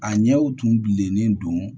A ɲɛw tun bilennen don